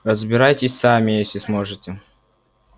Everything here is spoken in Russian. разбирайтесь сами если сможете